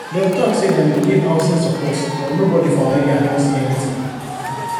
dem talk say dem go give housing support but nobody for our area don see anything